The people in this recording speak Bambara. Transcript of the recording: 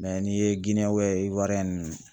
n'i ye nunnu